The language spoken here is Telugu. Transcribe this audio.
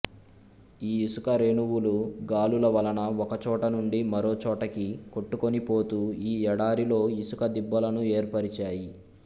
ఈ ఇసుకరేణువులు గాలుల వలన ఒకచోట నుండి మారోచోటకి కొట్టుకొనిపోతూ ఈ ఎడారిలో ఇసుక దిబ్బలను ఏర్పరిచాయి